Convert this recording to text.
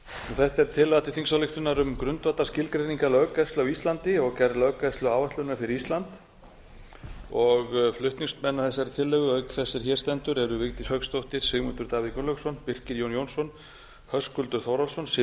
þetta er tillaga til þingsályktunar um grundvallarskilgreiningar löggæslu á íslandi og gerð löggæsluáætlunar fyrir ísland flutningsmenn að þessari tillögu auk þess er hér stendur eru vigdís hauksdóttir sigmundur davíð gunnlaugsson birkir jón jónsson höskuldur þórhallsson siv